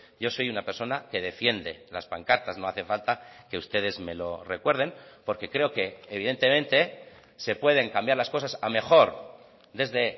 yo soy una persona que defiende las pancartas no hace falta que ustedes me lo recuerden porque creo que evidentemente se pueden cambiar las cosas a mejor desde